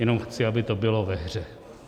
Jenom chci, aby to bylo ve hře.